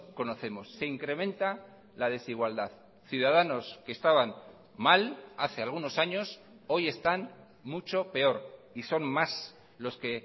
conocemos se incrementa la desigualdad ciudadanos que estaban mal hace algunos años hoy están mucho peor y son más los que